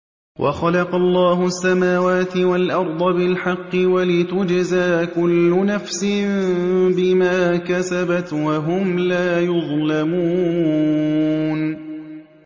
وَخَلَقَ اللَّهُ السَّمَاوَاتِ وَالْأَرْضَ بِالْحَقِّ وَلِتُجْزَىٰ كُلُّ نَفْسٍ بِمَا كَسَبَتْ وَهُمْ لَا يُظْلَمُونَ